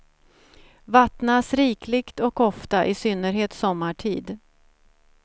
Vattnas rikligt och ofta, i synnerhet sommartid.